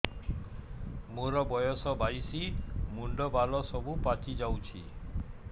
ମୋର ବୟସ ବାଇଶି ମୁଣ୍ଡ ବାଳ ସବୁ ପାଛି ଯାଉଛି